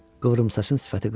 Qıvrımsaçın sifəti qızardı.